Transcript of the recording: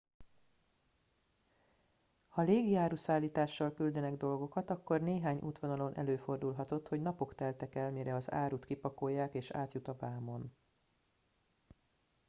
ha légi áruszállítással küldenek dolgokat akkor néhány útvonalon előfordulhatott hogy napok teltek el mire az árut kipakolják és átjut a vámon